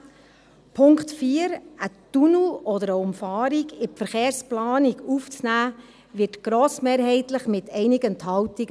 Dem Punkt 4, einen Tunnel oder eine Umfahrung in die Verkehrsplanung aufzunehmen, wird grossmehrheitlich auch zugestimmt, mit einigen Enthaltungen.